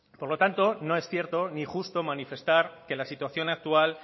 por lo tanto no es cierto ni justo manifestar que la situación actual